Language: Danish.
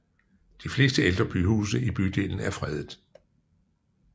De fleste ældre huse i bydelen er fredet